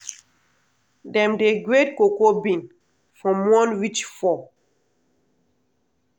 dem dey grade cocoa bean from one reach four.